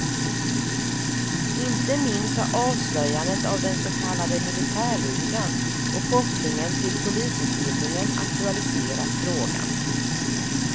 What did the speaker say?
Inte minst har avslöjandet av den så kallade militärligan och kopplingen till polisutbildningen aktualiserat frågan.